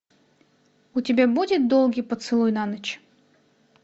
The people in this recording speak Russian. у тебя будет долгий поцелуй на ночь